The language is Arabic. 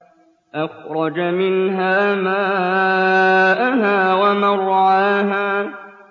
أَخْرَجَ مِنْهَا مَاءَهَا وَمَرْعَاهَا